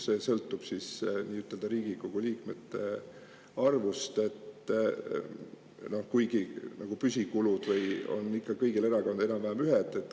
See sõltub Riigikogu liikmete arvust, kuigi püsikulud on kõigil erakondadel enam-vähem ühe.